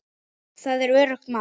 Það er öruggt mál.